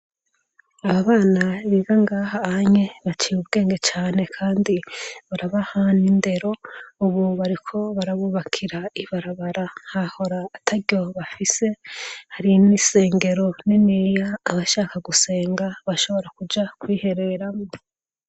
Aba bana biga ngaha anye baciye ubwenge cane kandi barabaha n'indero ubu bariko barabubakira ibarabara hahora ataryo bafise hari n'isengero niniya abashaka gusenga bashobora kuja kwihereramwo.